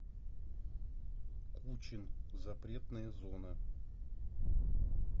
кучин запретная зона